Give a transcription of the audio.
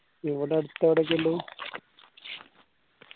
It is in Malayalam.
ഇവിടെ അടുത്ത് എടൊക്കെ ഇള്ളത്